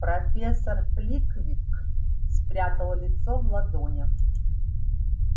профессор фликвик спрятал лицо в ладонях